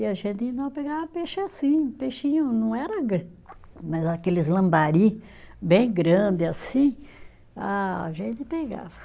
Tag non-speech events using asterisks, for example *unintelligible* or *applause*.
E a gente não pegava peixe assim, o peixinho não era, *unintelligible* mas aqueles lambari bem grandes assim, a gente pegava.